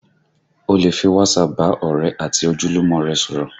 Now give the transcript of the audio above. O lè fi WhatsApp bá ọ̀rẹ́ àti ojúlùmọ̀ rẹ sọ̀rọ̀